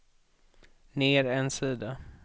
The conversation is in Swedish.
ner en sida